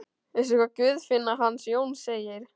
Veistu hvað Guðfinna hans Jóns segir?